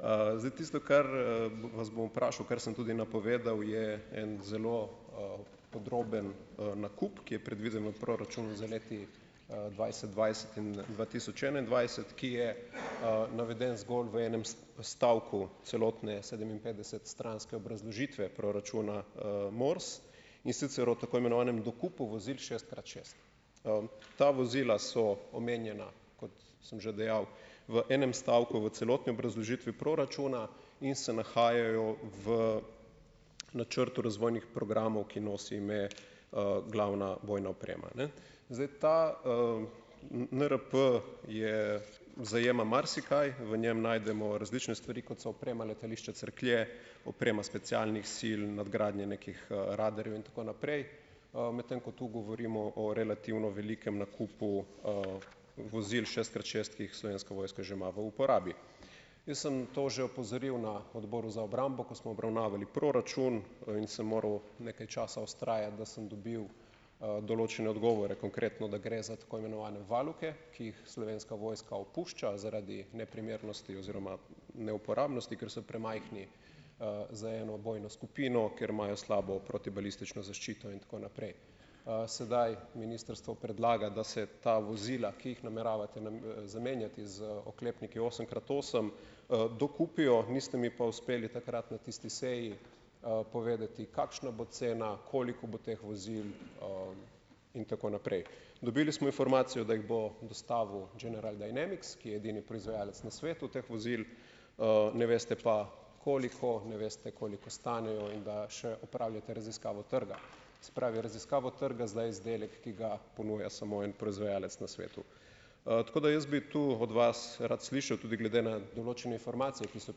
Zdaj, tisto, kar, vas bom vprašal, kar sem tudi napovedal, je en zelo, podroben, nakup, ki je predviden v proračunu za leti, dvajset dvajset in dva tisoč enaindvajset, ki je, naveden zgolj v enem stavku celotne sedeminpetdesetstranske obrazložitve proračuna, MORS. In sicer o tako imenovanem dokupu vozil šest krat šest. Ta vozila so omenjena, kot sem že dejal, v enem stavku v celotni obrazložitvi proračuna in se nahajajo v načrtu razvojnih programov, ki nosi ime, Glavna bojna oprema, Zdaj, ta, NRP je, zajema marsikaj, v njem najdemo različne stvari, kot so oprema letališča Cerklje, oprema specialnih sil, nadgradnja nekih, radarjev in tako naprej, medtem ko tu govorimo o relativno velikem nakupu vozil šest krat šest, ki jih Slovenska vojska že ima v uporabi. Jaz sem to že opozoril na odboru za obrambo, ko smo obravnavali proračun, in sem moral nekaj časa vztrajati, da sem dobil, določene odgovore. Konkretno, da gre za tako imenovane valuke, ki jih Slovenska vojska opušča zaradi neprimernosti oziroma neuporabnosti, ker so premajhni, za eno vojno skupino, ker imajo slabo protibalistično zaščito in tako naprej. Sedaj ministrstvo predlaga, da se ta vozila, ki jih nameravate zamenjati z oklepniki osem krat osem, dokupijo, niste mi pa uspeli takrat na tisti seji, povedati, kakšna bo cena, koliko bo teh vozil, in tako naprej. Dobili smo informacijo, da jih bo dostavil General Dynamics, ki je edini proizvajalec na svetu teh vozil, ne veste pa, koliko, ne veste, koliko stanejo, in da še opravljate raziskavo trga. Se pravi, raziskavo trga, za izdelek, ki ga ponuja samo en proizvajalec na svetu. Tako da jaz bi tu od vas rad slišal, tudi glede na določene informacije, ki so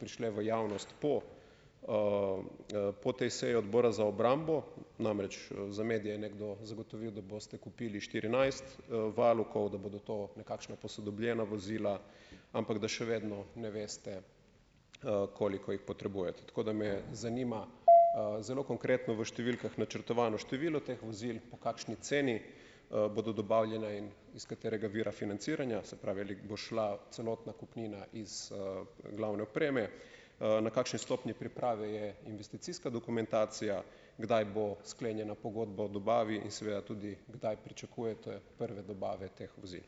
prišle v javnost po, po tej seji odbora za obrambo, namreč, za medije je nekdo zagotovil, da boste kupili štirinajst, valukov, da bodo to nekakšna posodobljena vozila, ampak da še vedno ne veste, koliko jih potrebujete. Tako da me zanima, zelo konkretno v številkah načrtovano število teh vozil, po kakšni ceni, bodo dobavljena in iz katerega vira financiranja, se pravi, ali bo šla celotna kupnina iz, glavne opreme, na kakšni stopnji priprave je investicijska dokumentacija, kdaj bo sklenjena pogodba o dobavi in seveda tudi, kdaj pričakujete prve dobave teh vozil.